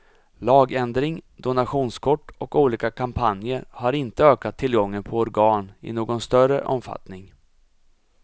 Lagändring, donationskort och olika kampanjer har inte ökat tillgången på organ i någon större omfattning.